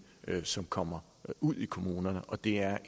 som kommer ud i kommunerne og det er